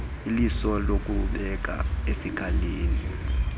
iliso nokubeka eskalini